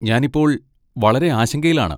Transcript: ഞാൻ ഇപ്പോൾ വളരെ ആശങ്കയിലാണ്.